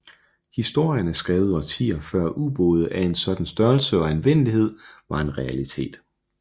Historien er skrevet årtier før ubåde af en sådan størrelse og anvendelighed var en realitet